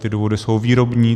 Ty důvody jsou výrobní.